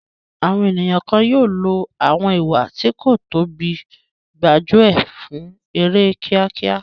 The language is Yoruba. Àwọn ènìyàn kan yóò lo àwọn ìwà tí kò tọ́ bíi gbájú ẹ̀ fún èrè kíákíá.